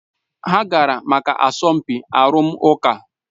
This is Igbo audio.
Ha gara maka asọmpi arụmụka